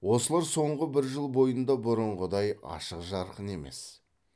осылар соңғы бір жыл бойында бұрынғыдай ашық жарқын емес